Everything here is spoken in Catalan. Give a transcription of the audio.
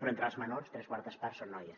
però entre els menors tres quartes parts són noies